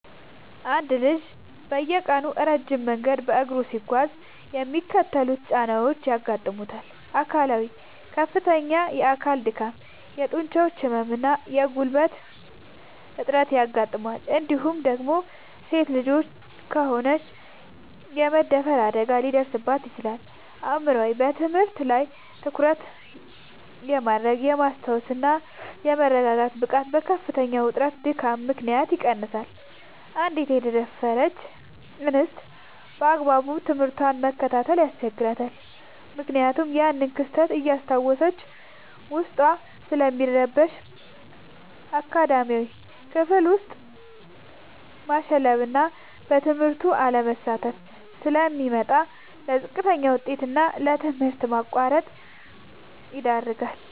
አንድ ልጅ በየቀኑ ረጅም መንገድ በእግሩ ሲጓዝ የሚከተሉት ጫናዎች ያጋጥሙታል፦ አካላዊ፦ ከፍተኛ የአካል ድካም፣ የጡንቻ ህመም እና የጉልበት እጥረት ያጋጥመዋል እንዲሁም ደግሞ ሴት ልጅ ከሆነች የመደፈር አደጋ ሊደርስባት ይችላል። አእምሯዊ፦ በትምህርት ላይ ትኩረት የማድረግ፣ የማስታወስ እና የመረጋጋት ብቃቱ በከፍተኛ ውጥረትና ድካም ምክንያት ይቀንሳል: አንዲት የተደፈረች እንስት ባግባቡ ትምህርቷን መከታተል ያስቸግራታል ምክንያቱም ያንን ክስተት እያስታወሰች ዉስጧ ስለሚረበሽ። አካዳሚያዊ፦ ክፍል ውስጥ ማሸለብና በትምህርቱ አለመሳተፍ ስለሚመጣ: ለዝቅተኛ ውጤት እና ለትምህርት ማቋረጥ ይዳረጋል።